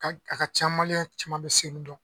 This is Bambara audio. Ka a ka ca maliyɛn caman bɛ Senu dɔn